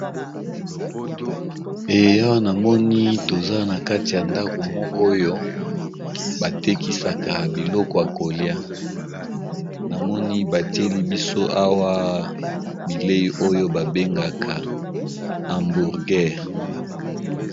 Awa namoni toza na kati ya ndako moko oyo batekisaka biloko ya kolia namoni batieli biso awa bilei oyo babengaka hambourgere.